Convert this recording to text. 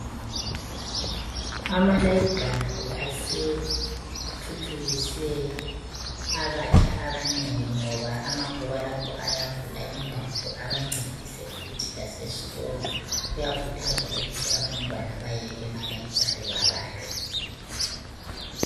Ama library asethuthukise abatsha abanengi ngoba amabhuku alapho ayavula ingqondo abancedise futhi laseskolo. Kuyakhuthazwa ukuthi abantwana baye ema library babale.